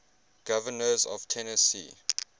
governors of tennessee